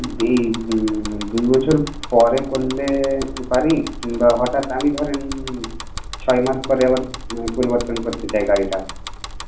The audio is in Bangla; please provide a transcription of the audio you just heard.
এই দুই বছর পরে করলে পারি? কিংবা হটাৎ আমি ধরেন ছয় মাস পরে আবার পরিবতন করতে চাই গাড়িটা.